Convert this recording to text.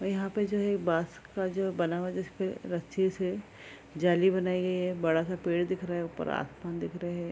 और यहाँ पे जो है बाँस का जो बना हुआ है जिसपे रस्सी से जाली बनाई गई है बड़ा सा पेड़ दिख रहा है ऊपर आसमान दिख रहे हैं।